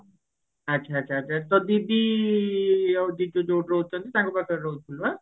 ଆଛା ଆଛା ତୋ ଦିଦି ଆଉ ଜିଜୁ ଯୋଉଠି ରହୁଛନ୍ତି ତାଙ୍କ ପାଖରେ ରହୁଛୁ ନା